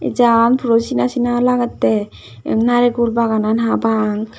jaa an puro sena sena lagetta eyod narikul baga nan barapang.